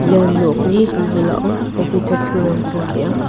ia nokni wilwilao adita pulrangko ge·a.